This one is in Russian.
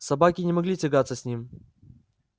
собаки не могли тягаться с ним